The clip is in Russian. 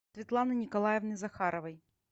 светланы николаевны захаровой